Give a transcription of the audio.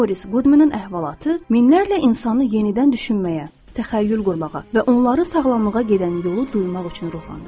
Moris Qudmenin əhvalatı minlərlə insanı yenidən düşünməyə, təxəyyül qurmağa və onları sağlamlığa gedən yolu duymaq üçün ruhlandırdı.